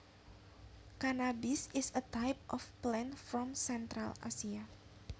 Cannabis is a type of plant from Central Asia